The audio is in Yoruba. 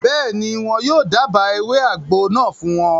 Bẹ́ẹ̀ni, wọn yóò dába ewé àgbo náà fún wọn